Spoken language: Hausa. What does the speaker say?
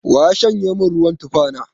Wa ya shanye min ruwan tufa na?